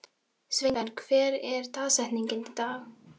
Sveinberg, hver er dagsetningin í dag?